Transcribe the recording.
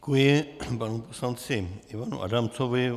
Děkuji panu poslanci Ivanu Adamcovi.